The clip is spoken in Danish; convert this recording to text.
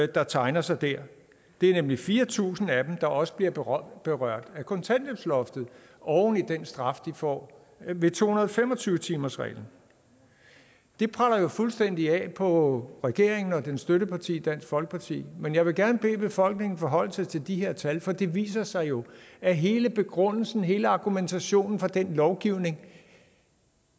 der tegner sig der det er nemlig fire tusind af dem der også bliver berørt berørt af kontanthjælpsloftet oven i den straf de får ved to hundrede og fem og tyve timersreglen det preller jo fuldstændig af på regeringen og dens støtteparti dansk folkeparti men jeg vil gerne bede befolkningen forholde sig til de her tal for det viser sig jo at hele begrundelsen hele argumentationen for den lovgivning